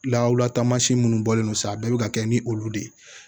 Lawura taamasiyɛn minnu bɔlen don sa bɛɛ bɛ ka kɛ ni olu de ye